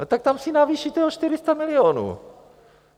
No tak tam si navýšíte o 400 milionů.